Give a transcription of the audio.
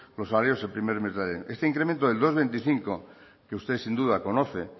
los salarios el primer mes de este incremento del dos coma veinticinco que usted sin duda conoce